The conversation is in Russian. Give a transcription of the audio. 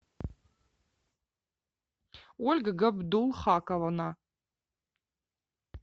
ольга габдулхаковна